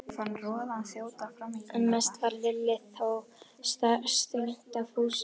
En mest varð Lillu þó starsýnt á Fúsa.